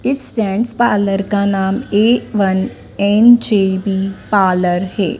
इस gents parlour का नाम ए वन एन_जे_बी पार्लर है।